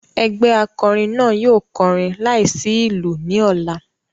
Egbe akọrin naa yóò kọrin laisi ilu ni ọla.